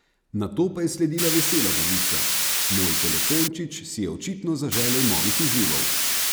Nato pa je sledila vesela novica: "Moj 'telefončič' si je očitno zaželel novih izzivov.